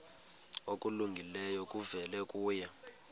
okulungileyo kuvela kuye